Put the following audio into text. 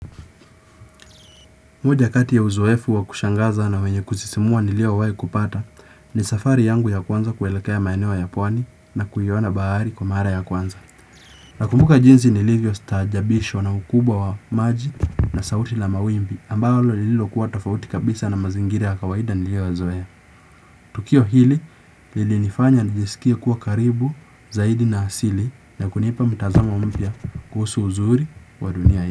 Moja kati ya uzoefu wa kushangaza na wenye kusisimua niliowai kupata ni safari yangu ya kwanza kuelekea maeneo ya pwani na kuiona bhaari kwa mara ya kwanza. Nakumbuka jinsi nilivyo staajabishwa na ukubwa wa maji na sauti la mawimbi ambalo lililo kuwa tofauti kabisa na mazingiri ya kawaida nilioyoyazoea. Tukio hili lilinifanya nijisikia kuwa karibu zaidi na asili na kunipa mtazama umpya kuhusu uzuri wa dunia ya.